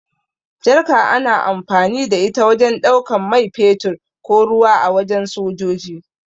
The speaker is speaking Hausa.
Jarka ana amfani da ita wajen ɗaukan mai fetur ko ruwa a wajen sojoji.